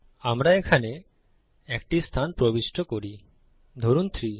আমরা এখানে একটি স্থান প্রবিষ্ট করি ধরুন 3